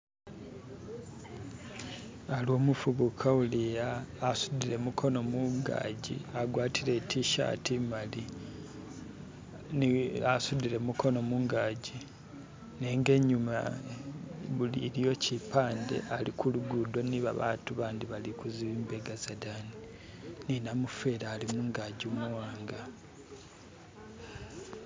Ali umufubuka uli'ya asudile gumukono mungaji agwatile itishati imali, asudile gumukono mungaji nenga inyuma iliyo kipande ali kulugudo ni abantu bandi bali kulubega lwadayi. Ni namufeli alimungaji umuwanga